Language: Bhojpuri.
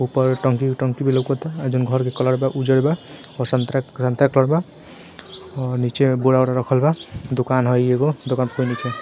ऊपर टंकी के टंकी भी लोकता | अ जउन घर के कलर बा उजर बा और संतरा संतरा के कलर बा | और नीचे बोरा उरा रखल बा | दुकान हई एगो | दुकान पर कोई नइखे |